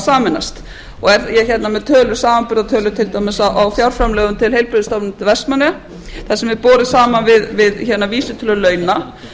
sameinast er ég hérna með samanburðartölur til dæmis á fjárframlögum til heilbrigðisstofnunar vestmannaeyja þar sem er borið saman við vísitölu launa